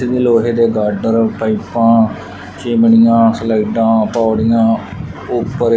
tool ਲੋਹੇ ਦੇ girder ਪਾਈਪਾਂ ਚਿਮਨੀਆਂ ਸਲਾਈਡਾਂ ਹਥੌੜੀਆਂ --